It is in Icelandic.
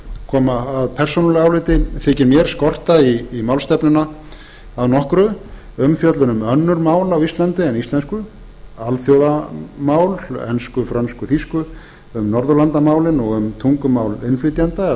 koma að persónulegu áliti þykir mér skorta í málstefnuna að nokkru umfjöllun um önnur mál á íslandi en íslensku alþjóðamál ensku frönsku og þýsku um norðurlandamálin og um tungumál innflytjenda eða nýbúa